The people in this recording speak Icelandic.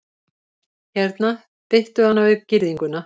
Hérna, bittu hana við girðinguna